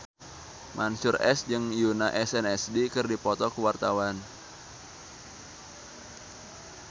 Mansyur S jeung Yoona SNSD keur dipoto ku wartawan